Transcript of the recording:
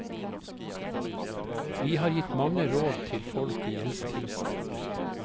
Vi har gitt mange råd til folk i gjeldskrise.